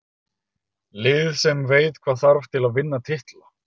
Lið sem veit hvað þarf til að vinna titla.